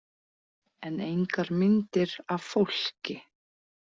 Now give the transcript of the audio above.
En engar myndir af fólki.